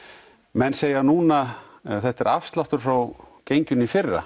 menn segja núna þetta er afsláttur frá genginu í fyrra